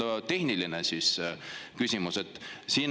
Aga puhttehniline küsimus.